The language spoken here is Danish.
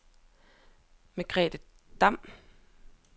Margrethe Damm